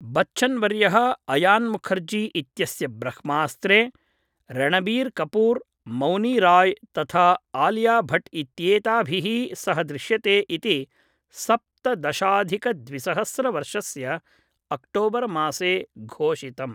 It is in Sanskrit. बच्चन्वर्यः अयान् मुखर्जी इत्यस्य ब्रह्मास्त्रे रणबीर् कपूर्, मौनी राय् तथा आलिया भट् इत्येताभिः सह दृश्यते इति सप्तदशाधिकद्विसहस्रवर्षस्य अक्टोबर् मासे घोषितम्।